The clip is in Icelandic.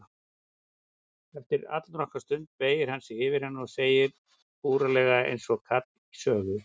Eftir allnokkra stund beygir hann sig yfir hana og segir búralega einsog kall í sögu